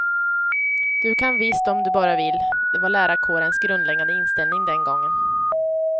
Du kan visst om du bara vill, det var lärarkårens grundläggande inställning den gången.